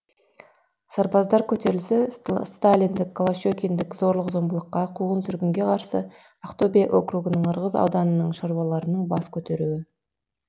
сарбаздар көтерілісі сталиндік голощекиндік зорлық зомбылыққа қуғын сүргінге қарсы ақтөбе округінің ырғыз ауданының шаруаларының бас көтеруі